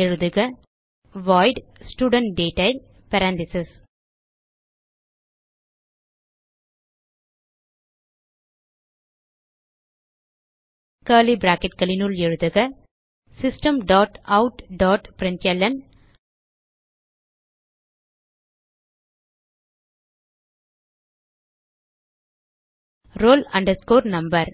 எழுதுக void studentDetail curly bracketகளினுள் எழுதுக system dot out dot println roll number